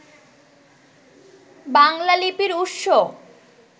বাংলা লিপির উৎস